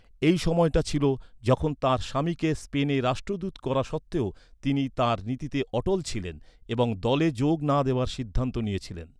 এই সময়টা ছিল যখন তাঁর স্বামীকে স্পেনে রাষ্ট্রদূত করা সত্ত্বেও, তিনি তাঁর নীতিতে অটল ছিলেন এবং দলে যোগ না দেওয়ার সিদ্ধান্ত নিয়েছিলেন।